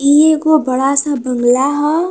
इ ऐगो बड़ा सा बंगला ह।